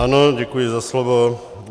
Ano, děkuji za slovo.